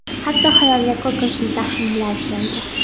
Hatto xayolga qo‘rqinchli taxminlar keldi.